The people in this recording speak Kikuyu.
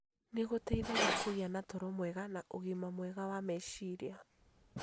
nĩ gũteithagia kũgĩa na toro mwega na ũgima mwega wa meciria.